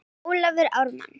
Ólafur Ármann.